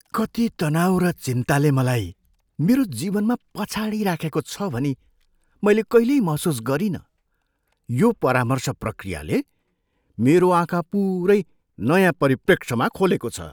कति तनाउ र चिन्ताले मलाई मेरो जीवनमा पछाडि राखेको छ भनी मैले कहिल्यै महसुस गरिनँ। यो परामर्श प्रक्रियाले मेरो आँखा पुरै नयाँ परिप्रेक्ष्यमा खोलेको छ!